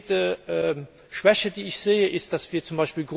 Eine konkrete Schwäche, die ich sehe, ist, dass wir z.